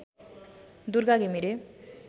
Durga Ghimire